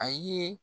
A ye